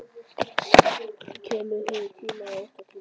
Kemur hér í tíma og ótíma.